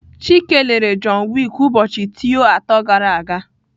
Chike lere John Wick ụbọchị teo atọ gara aga.